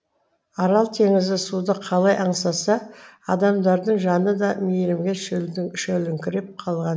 арал теңізі суды қалай аңсаса адамдардың жаны да мейірімге шөліркеп қалған